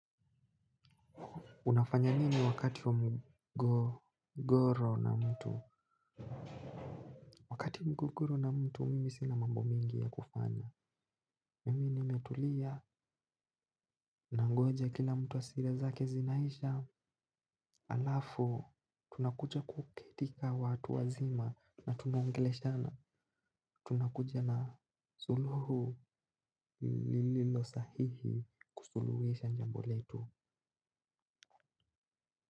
Unafanya nini wakati wa mgogoro na mtu? Wakati wa mmgogoro na mtu, mimi sina mambo mingi ya kufanya. Mimi nimetulia, nangoja kila mtu hasira zake zinaisha. Alafu, tunakuja kuketi ka watu wazima na tunaongeleshana. Tunakuja na suluhu lililo sahihi kusuluhisha jambo letu.